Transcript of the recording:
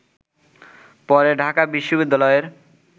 পরে ঢাকা বিশ্ববিদ্যালয়ের